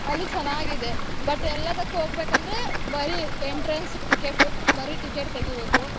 ಅಲ್ಲಿ ಚೆನ್ನಾಗಿದೆ but ಎಲ್ಲಾದಕ್ ಹೋಗ್ಬೇಕಂದ್ರೆ ಬರೀ entrance ticket ಬರೀ ticket ತೆಗಿಬೇಕು.